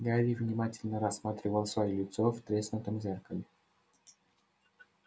гарри внимательно рассматривал своё лицо в треснутом зеркале